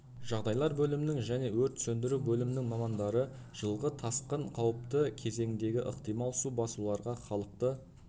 жағдайлар бөлімінің және өрт сөндіру бөлімінің мамандары жылғы тасқын қауіпті кезеңдегі ықтимал су басуларға халықты